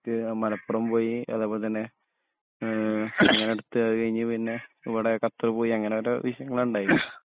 ആ മലപ്പുറം പോയി അധെപോലെതഞ്ഞേ ങേ അടുത്തത് കഴിഞ്ഞ് ഇവ്ടെ പിന്നെ ഖത്തറിൽപോയി അങ്ങനെ ഓരോ വിഷയങ്ങള ണ്ടായെ